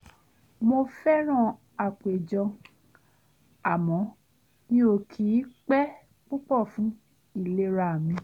mo fẹ́ràn àpéjọ àmọ́ mi ò kì í pẹ́ púpọ̀ fún ìlera mi